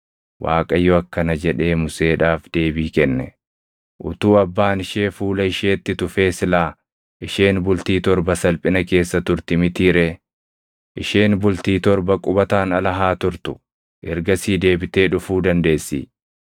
Waaqayyo akkana jedhee Museedhaaf deebii kenne; “Utuu abbaan ishee fuula isheetti tufee silaa isheen bultii torba salphina keessa turti mitii ree? Isheen bultii torba qubataan ala haa turtu; ergasii deebitee dhufuu dandeessi.”